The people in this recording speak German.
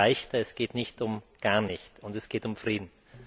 Es geht um leichter, es geht nicht um gar nicht, und es geht um Frieden.